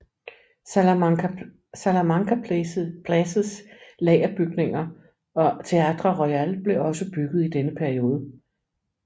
Salamanca Places lagerbygninger og Theatre Royal blev også bygget i denne periode